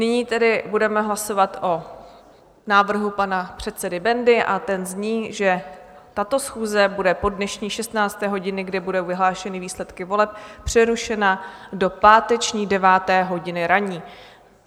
Nyní tedy budeme hlasovat o návrhu pana předsedy Bendy a ten zní, že tato schůze bude po dnešní 16. hodině, kdy budou vyhlášeny výsledky voleb, přerušena do páteční 9. hodiny ranní.